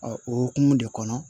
o hokumu de kɔnɔ